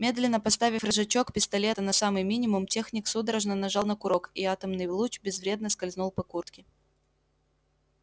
медленно поставив рычажок пистолета на самый минимум техник судорожно нажал на курок и атомный луч безвредно скользнул по куртке